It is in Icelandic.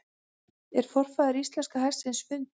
Er forfaðir íslenska hestsins fundinn?